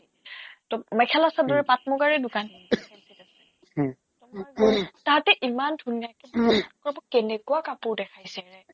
টৌ মেখেলা-চাদৰ পাট্-মুগাৰে দোকান ফেঞ্ছিত আছে তোমাৰ তাহাতে ইমান ধুনীয়াকে ক'ব কেনেকুৱা কাপোৰ দেখাইছেৰে